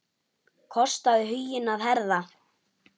Kostaðu huginn að herða.